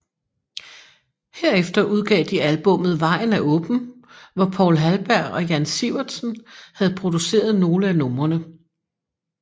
Herefter udgav de albummet Vejen Er Åben hvor Poul Halberg og Jan Sivertsen havde produceret nogle af numrene